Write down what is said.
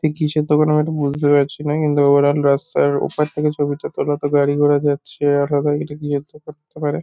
এ কিসের দোকান আমি এটা বুঝতে পারছি না কিন্তু ওভারঅল রাস্তার ওপার থেকে ছবি টা তোলা তো গাড়ি ঘোড়া যাচ্ছে আর করতে পারে।